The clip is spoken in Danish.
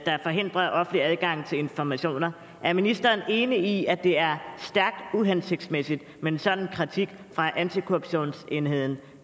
der forhindrer offentlig adgang til informationer er ministeren enig i at det er stærkt uhensigtsmæssigt med en sådan kritik fra antikorruptionsenheden